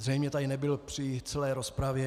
Zřejmě tady nebyl při celé rozpravě.